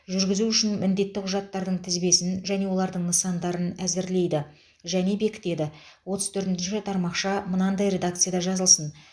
жүргізу үшін міндетті құжаттардың тізбесін және олардың нысандарын әзірлейді және бекітеді отыз төртінші тармақша мынадай редакцияда жазылсын